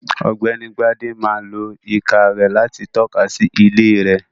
Ọ̀gbẹ́ni Bádé máa lo ìka rẹ̀ láti tọ́ka sí ilé rẹ̀.